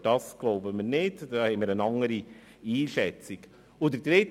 Wir glauben nicht, dass es dazu kommt, sondern schätzen es anders ein.